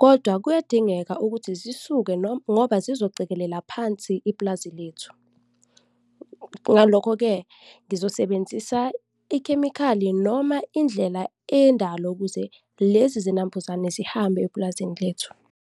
kodwa kuyadingeka ukuthi zisuke noma, ngoba zizocekelela phansi ipulazi lethu. Ngalokho-ke, ngizosebenzisa ikhemikhali noma indlela eyendalo ukuze lezi zinambuzane zihambe epulazini lethu.